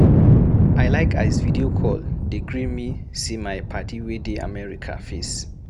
I like as video call dey gree me see my paddy wey dey America face.